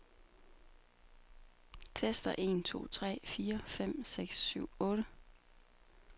Tester en to tre fire fem seks syv otte.